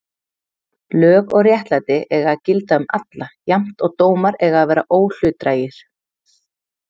Lög og réttlæti eiga að gilda um alla jafnt og dómar eiga að vera óhlutdrægir.